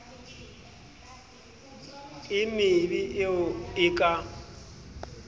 e mebe eo e ka